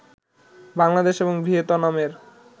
বাংলাদেশ এবং ভিয়েতনামের